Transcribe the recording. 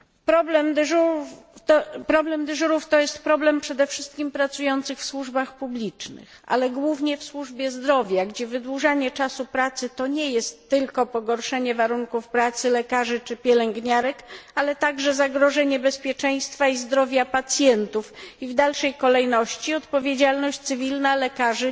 Problem dyżurów to jest problem przede wszystkim pracujących w służbach publicznych, ale głównie w służbie zdrowia, gdzie wydłużanie czasu pracy to nie jest tylko pogorszenie warunków pracy lekarzy czy pielęgniarek, ale także zagrożenie bezpieczeństwa i zdrowia pacjentów i w dalszej kolejności odpowiedzialność cywilna lekarzy